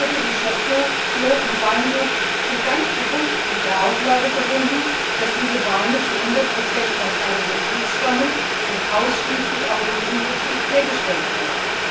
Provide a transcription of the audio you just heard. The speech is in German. Begriffe wie Château, Clos und Weingut sind ganz bewusst mit der Auflage verbunden, dass diese Weine zu 100 aus einem Betrieb stammen und ausschließlich auch in diesem Betrieb hergestellt wurden.